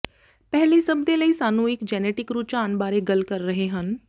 ਪਹਿਲੀ ਸਭ ਦੇ ਲਈ ਸਾਨੂੰ ਇਕ ਜੈਨੇਟਿਕ ਰੁਝਾਨ ਬਾਰੇ ਗੱਲ ਕਰ ਰਹੇ ਹਨ